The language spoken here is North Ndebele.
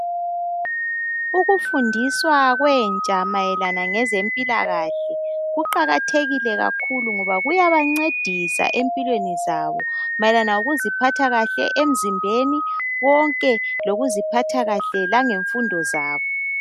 Ukufundiswa kwentsha mayelana ngezempilakahle kuqakathekile kakhulu ngoba kuyabancedisa empilweni zabo mayelana lokuziphatha kahle emzimbeni konke lokuziphatha kahle langemfundo zabo.